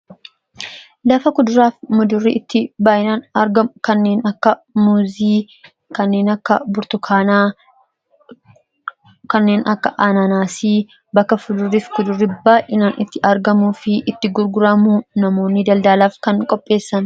Lafa kuduraa fi muduraan itti argamu kanneen akka muuzii, kanneen akka burtukaanaa, kanneen akka anaanaasii bakka fudurrii fi kudurri baay'inaan itti argamuu fi itti gurguramu, namoonni daldalaaf kan qopheessani.